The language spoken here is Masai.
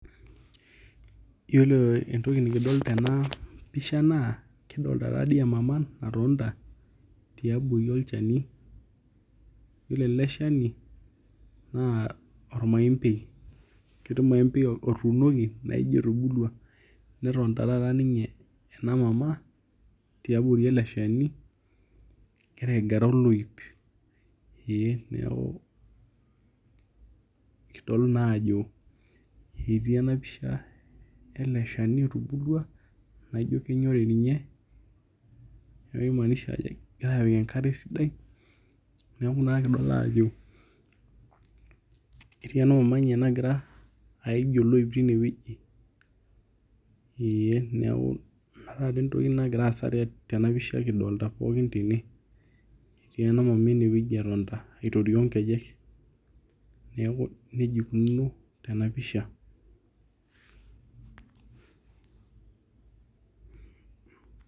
Yiolo entoki nikidol tenapisha naa, kidolta tadi emama natonta tiabori olchani, yiolo ele shani naa ormaembei. Orkiti maembei otuunoki naijo etubulua. Netoonta taata ninye ena mama tiabori ele shani egira aigara oloip. Ee neeku kudol naajo etii enapisha ele shani otubulua, naijo kenyori ninye, neeku kimaanisha kegirai apik enkare esidai, neeku naa kidol ajo etii ena mama nye nagira aij oloip tinewueji. Ee neeku inataa entoki nagira aasa tenapisha kidolta pookin tene. Etii ena mama enewueji etonta aitorioo nkejek. Neeku nejia ikununo enapisha.